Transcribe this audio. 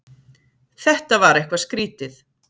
Þetta var eitthvað skrýtið.